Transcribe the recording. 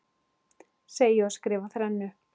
Segi og skrifa þrennu.